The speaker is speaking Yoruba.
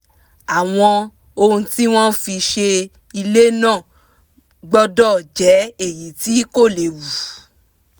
àwọn ohun tí wọ́n fi se ilé náà gbọ́dọ̀ jẹ́ èyí tí kò léwu